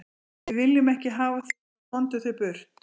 Við viljum ekki hafa þig svo, komdu þér burt.